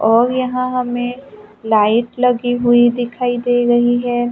और यहां हमें लाइट लगी हुई दिखाई दे रही है।